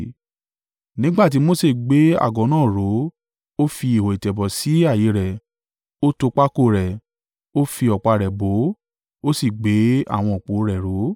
Nígbà tí Mose gbé àgọ́ náà ró ó fi ihò ìtẹ̀bọ̀ sí ààyè rẹ̀, ó to pákó rẹ̀, ó fi ọ̀pá rẹ̀ bọ̀ ọ́, ó sì gbé àwọn òpó rẹ̀ ró.